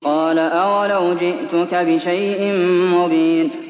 قَالَ أَوَلَوْ جِئْتُكَ بِشَيْءٍ مُّبِينٍ